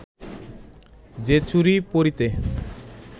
যে চুড়ি পরিতে